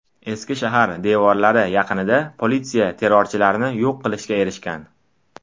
Eski shahar devorlari yaqinida politsiya terrorchilarni yo‘q qilishga erishgan.